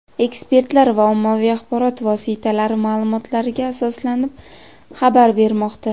ekspertlar va ommaviy axborot vositalari ma’lumotlariga asoslanib xabar bermoqda.